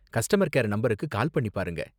Customer care நம்பருக்கு call பண்ணி பாருங்க.